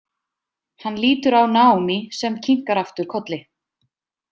Hann lítur á Naomi sem kinkar aftur kolli.